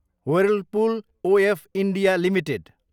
Whirlpool of India Ltd